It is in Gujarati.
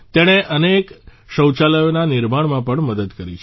તેણે અનેક શૌચાલયોના નિર્માણમાં પણ મદદ કરી છે